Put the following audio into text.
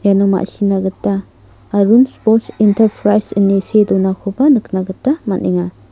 iano ma·sina gita arun spors entarprais ine see donakoba nikna gita man·enga.